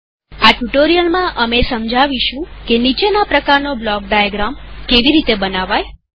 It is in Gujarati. આ ટ્યુ્ટોરીઅલમાંઅમે સમજાવીશું કે નીચેના પ્રકારનો બ્લોક ડાયાગ્રામ કેવી રીતે બનાવાય